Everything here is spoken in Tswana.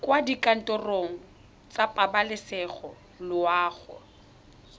kwa dikantorong tsa pabalesego loago